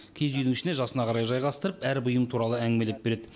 киіз үйдің ішіне жасына қарай жайғастырып әр бұйым туралы әңгімелеп береді